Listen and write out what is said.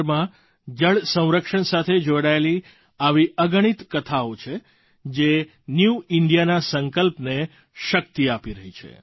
દેશભરમાં જળ સંરક્ષણ સાથે જોડાયેલી આવી અગણિત કથાઓ છે જે ન્યૂ ઇન્ડિયાના સંકલ્પને શક્તિ આપી રહી છે